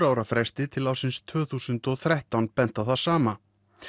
ára fresti til ársins tvö þúsund og þrettán bent á það sama